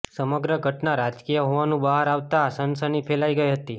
સમગ્ર ઘટના રાજકીય હોવાનું બહાર આવતા સનસની ફેલાઈ ગઈ હતી